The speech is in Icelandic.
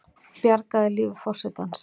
Bjargaði lífi forsetans